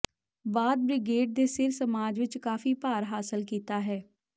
ਬਾਅਦ ਬ੍ਰਿਗੇਡ ਦੇ ਸਿਰ ਸਮਾਜ ਵਿਚ ਕਾਫ਼ੀ ਭਾਰ ਹਾਸਲ ਕੀਤਾ ਹੈ